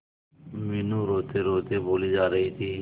मीनू रोतेरोते बोली जा रही थी